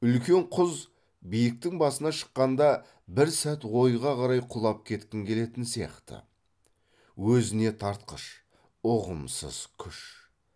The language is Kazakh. үлкен құз биіктің басына шыққанда бір сәт ойға қарай құлап кеткің келетін сияқты өзіне тартқыш ұғымсыз күш